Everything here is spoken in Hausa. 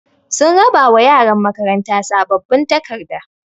Sun raɓa wa ƴaran makaranta saɓɓaɓin taƙarɗa.